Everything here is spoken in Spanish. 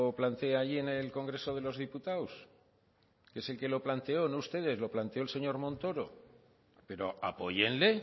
plantea allí en el congreso de los diputados que es el que lo planteó no ustedes lo planteó el señor montoro pero apóyenle